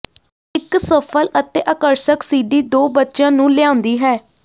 ਇਕ ਸਫਲ ਅਤੇ ਆਕਰਸ਼ਕ ਸਿਡੀ ਦੋ ਬੱਚਿਆਂ ਨੂੰ ਲਿਆਉਂਦੀ ਹੈ